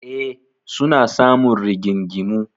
E, suna samun rigingimu.